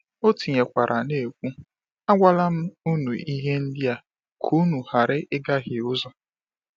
O tinyekwara na-ekwu: “Agwala m ụnụ ihe ndị a ka ụnụ ghara ịgahie ụzọ.”